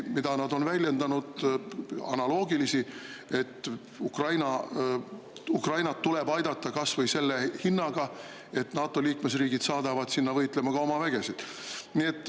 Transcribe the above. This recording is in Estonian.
Nad on väljendanud analoogilisi seisukohti, et Ukrainat tuleb aidata kas või selle hinnaga, et NATO liikmesriigid saadavad sinna võitlema ka oma vägesid.